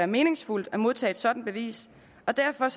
meningsfuldt at modtage et sådant bevis og derfor